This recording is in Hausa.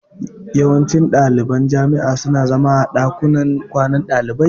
Yawancin ɗaliban jami'a su na zama a ɗakunan kwanan ɗalibai